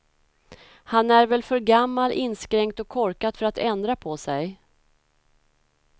Han är väl för gammal, inskränkt och korkad för att ändra på sig.